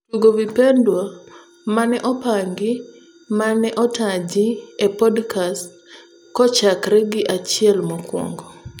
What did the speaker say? Tugo vipendwa maneopangi maneotaji e podkast kochakree gi achiel mokuongo